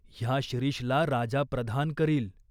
ह्या शिरीषला राजा प्रधान करील.